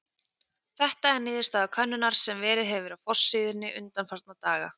Þetta er niðurstaða könnunar sem verið hefur á forsíðunni undanfarna daga.